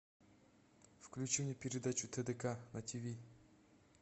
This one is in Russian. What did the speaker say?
включи мне передачу тдк на тиви